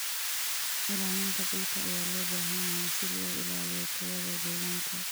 Ilaalinta dhulka ayaa loo baahan yahay si loo ilaaliyo tayada deegaanka.